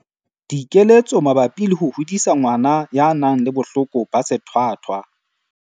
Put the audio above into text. Dikeletso mabapi le ho hodisa ngwana ya nang le bohloko ba sethwathwa.